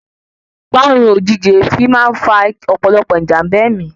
Parun ojìjijì èéfín máa ń fa òpòlopò ijamba ẹ̀mí